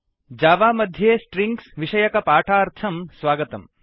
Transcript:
Java मध्ये strings strings विषकपाठार्थं स्वागतम्